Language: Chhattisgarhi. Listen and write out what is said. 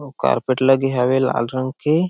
आऊ कारपेट लगे हावय लाल रंग के--